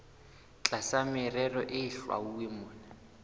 tlasa merero e hlwauweng mona